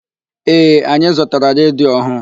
Ee, anyị zụtara redio ọhụụ.